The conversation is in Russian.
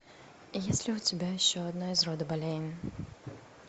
есть ли у тебя еще одна из рода болейн